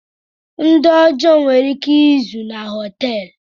Ndị ọjọọ nwere ike izo na họteelu.